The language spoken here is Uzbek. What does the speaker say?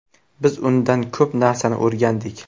Biz undan ko‘p narsani o‘rgandik.